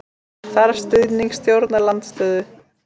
Þarf stuðning stjórnarandstöðu